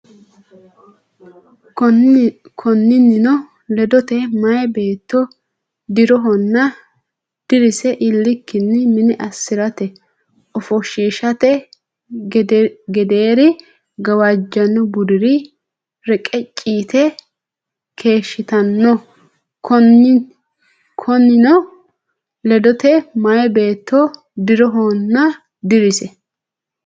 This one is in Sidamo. Konninnino ledote, meyaa beetto dii’rohonna dirise iillikkinni mine assi’rate, ofoshshiishate gedeeri gawajjanno budira reqecci yite keeshshitino Konninnino ledote, meyaa beetto dii’rohonna dirise.